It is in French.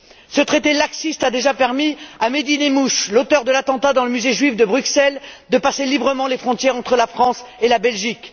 Ce traité laxiste a déjà permis à Mehdi Nemmouche, l'auteur de l'attentat dans le musée juif de Bruxelles, de passer librement les frontières entre la France et la Belgique.